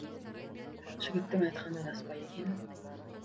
жігіттің айтқаны рас па екен